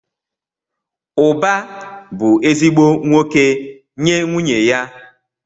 Uba bu ezigbo nwoke nye nwunye ya.